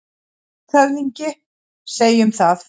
LANDSHÖFÐINGI: Segjum það.